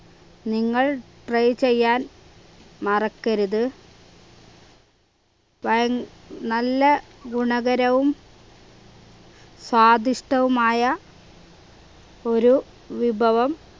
നിങ്ങൾ try ചെയ്യാൻ മറക്കരുത് വയ നല്ല ഗുണകരവും സ്വാദിഷ്ടവുമായ ഒരു വിഭവം